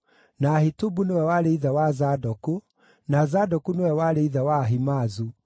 na Ahitubu nĩwe warĩ ithe wa Zadoku, na Zadoku nĩwe warĩ ithe wa Ahimaazu,